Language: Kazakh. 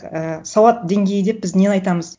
ііі сауат деңгейі деп біз нені айтамыз